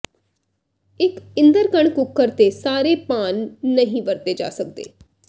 ਇੱਕ ਇਦਰਕਣ ਕੁੱਕਰ ਤੇ ਸਾਰੇ ਪਾਨ ਨਹੀਂ ਵਰਤੇ ਜਾ ਸਕਦੇ